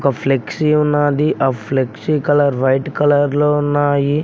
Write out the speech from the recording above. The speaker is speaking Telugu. ఫ్లెక్సీ ఉన్నది ఆ ఫ్లెక్సీ కలర్ వైట్ కలర్ లో ఉన్నాయి.